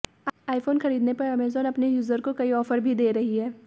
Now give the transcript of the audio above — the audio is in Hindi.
आईफोन खरीदने पर अमेजन अपने यूजर को कई ऑफर भी दे रही है